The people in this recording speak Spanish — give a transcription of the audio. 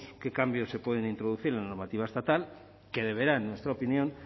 qué cambios se pueden introducir en la normativa estatal que deberá en nuestra opinión